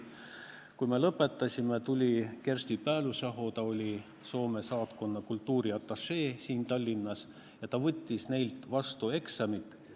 Kui me lõpetasime, tuli Kirsti Päällysaho, kes oli Soome saatkonna kultuuriatašee siin Tallinnas, ja võttis neilt eksami vastu.